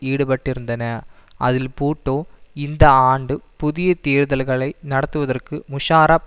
ஈடுபட்டிருந்தன அதில் பூட்டோ இந்த ஆண்டு புதிய தேர்தல்களை நடத்துவதற்கு முஷாரப்